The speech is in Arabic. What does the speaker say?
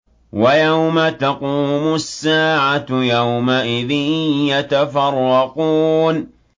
وَيَوْمَ تَقُومُ السَّاعَةُ يَوْمَئِذٍ يَتَفَرَّقُونَ